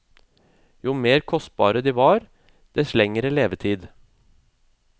Jo mer kostbare de var, dess lengre levetid.